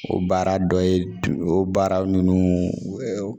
O baara dɔ ye o baara ninnu